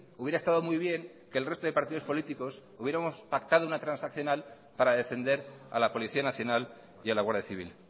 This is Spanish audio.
hubiera estado muy bien que el resto de partidos políticos hubiéramos pactado una transaccional para defender a la policía nacional y a la guardia civil